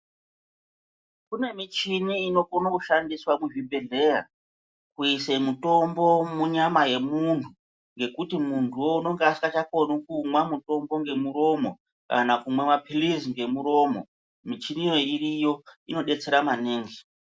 Kune michini inokono kushandiswa kuzvibhedhleya kuise mutombo munyama yemuntu, ngekuti muntuwo unenga asikachakoni kumwa mutombo ngemuromo kana kumwa maphilizi ngemuromo. Michiniyo iriyo, inodetsera maningi.